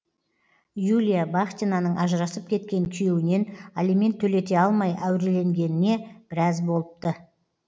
юлия бахтинаның ажырасып кеткен күйеуінен алимент төлете алмай әуреленгеніне біраз болыпты